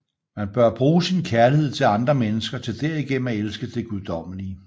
Man bør bruge sin kærlighed til andre mennesker til derigennem at elske det guddommelige